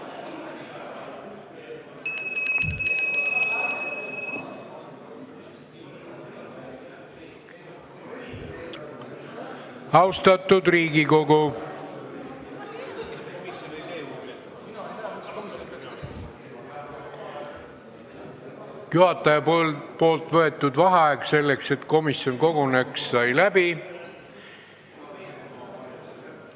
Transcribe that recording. Austatud Riigikogu, juhataja võetud vaheaeg selleks, et komisjon koguneks, sai läbi.